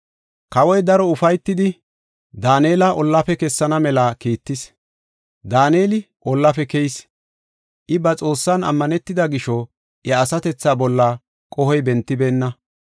Kawoy daro ufaytidi, Daanela ollaafe kessana mela kiittis. Daaneli ollaafe keyis; I ba Xoossan ammanetida gisho, iya asatethaa bolla qohoy bentibeenna.